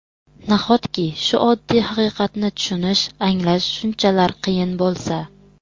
Nahotki, shu oddiy haqiqatni tushunish, anglash shunchalar qiyin bo‘lsa?